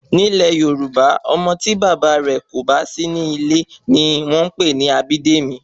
Ni ilè Yorùbá, Ọmọ ti bàbá rè kò bá sí ní ilẹ̀ ni wọ́n pè ní Abídèmí